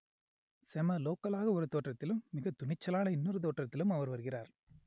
செம லோக்கல் ஆக ஒரு தோற்றத்திலும் மிக துணிச்சலான இன்னொரு தோற்றத்திலும் அவர் வருகிறார்